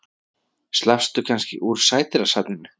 Slappstu kannski úr Sædýrasafninu?